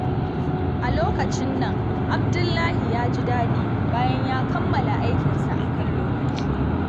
A lokacin nan, Abdullahi ya ji daɗi bayan ya kammala aikinsa a kan lokaci.